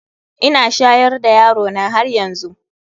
Ina shayar da yarona haryanzu.